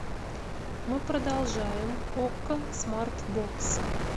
мы продолжаем окко смарт бокс